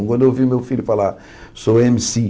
Quando eu ouvi meu filho falar, sou ême ci.